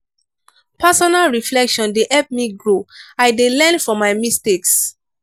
personal reflection dey help me grow i dey learn from my mistakes.